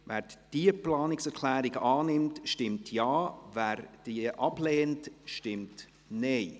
Wer diese Planungserklärung annimmt, stimmt Ja, wer sie ablehnt, stimmt Nein.